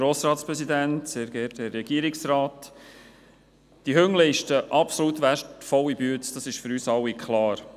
Es ist für uns alle klar, dass diese Hunde eine absolut wertvolle Arbeit leisten.